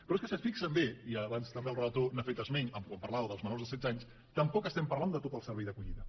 però és que si s’hi fixen bé i abans també el relator n’ha fet esment quan parlava dels menors de setze anys tampoc estem parlant de tot el servei d’acollida